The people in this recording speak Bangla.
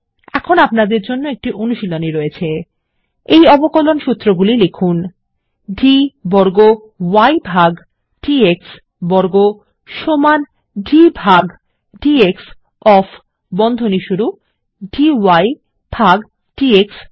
এখন আপনাদের জন্য একটি অনুশীলনী আছে এই অবকলন সূত্রগুলি লিখুন160 d বর্গ y ভাগ d x বর্গ সমান d ভাগ ডিএক্স ওএফ ডি ভাগ ডিএক্স